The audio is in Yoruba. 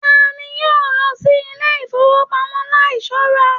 Tani yóò lọ sí ilé ifowopamọ láì ṣọra?